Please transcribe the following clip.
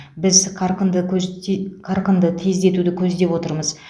біз қарқынды көзде қарқынды тездетуді көздеп отырмыз